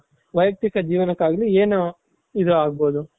ಒಬ್ಬ ವಯಕ್ತಿಕ ಜೀವನಕ್ಕಾಗ್ಲಿ ಏನು ಇದಾಗ್ಬಹುದು